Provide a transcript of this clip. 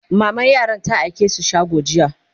maman yaran ta aike su shago jiya